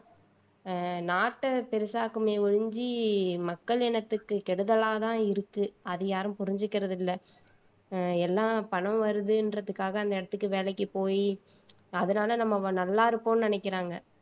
ஆஹ் நாட்டை பெரிசாக்குமே ஒழிஞ்சு மக்கள் இனத்துக்கு கெடுதலாதான் இருக்கு அத யாரும் புரிஞ்சுக்கிறது இல்ல ஆஹ் எல்லா பணம் வருதுன்றதுக்காக அந்த இடத்துக்கு வேலைக்கு போயி அதனாலே நம்ம நல்லா இருப்போம்ன்னு நினைக்கிறாங்க